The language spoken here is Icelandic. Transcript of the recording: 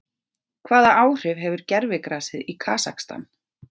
Hvaða áhrif hefur gervigrasið í Kasakstan?